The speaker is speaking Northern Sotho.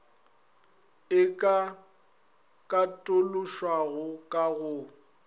e ka katološwago ka go